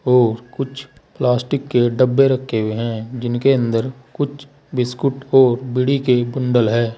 और कुछ प्लास्टिक के डब्बे रखे हुए हैं जिनके अंदर कुछ बिस्कुट को बीड़ी के बन्डल है।